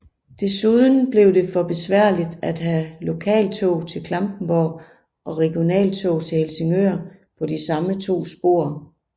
Desuden blev det for besværligt at have lokaltog til Klampenborg og regionaltog til Helsingør på de samme to spor